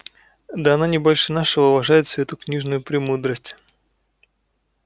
да она не больше нашего уважает всю эту книжную премудрость